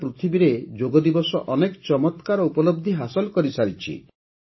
ସାରା ପୃଥିବୀରେ ଯୋଗ ଦିବସ ଅନେକ ଚମତ୍କାର ଉପଲବଧି ହାସଲ କରିଛି